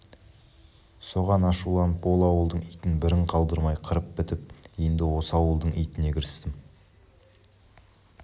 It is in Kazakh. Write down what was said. соған ашуланып ол ауылдың итін бірін қалдырмай қырып бітіп енді осы ауылдың итіне кірістім